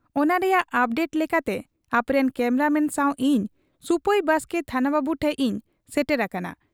ᱚᱱᱟ ᱨᱮᱭᱟᱜ ᱚᱯᱰᱮᱴ ᱞᱮᱠᱟᱛᱮ ᱟᱯᱮᱨᱮᱱ ᱠᱮᱢᱨᱟ ᱢᱮᱱ ᱥᱟᱶ ᱤᱧ ᱥᱩᱯᱟᱹᱭ ᱵᱟᱥᱠᱮ ᱛᱷᱟᱱᱟ ᱵᱟᱹᱵᱩ ᱴᱷᱮᱫ ᱤᱧ ᱥᱮᱴᱮᱨ ᱟᱠᱟᱱᱟ ᱾